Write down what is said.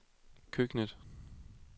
køkkenet